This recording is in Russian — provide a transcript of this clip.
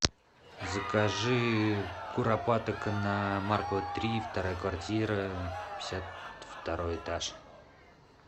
закажи куропаток на маркова три вторая квартира пятьдесят второй этаж